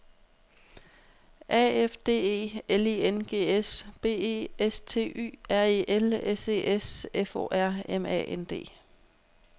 A F D E L I N G S B E S T Y R E L S E S F O R M A N D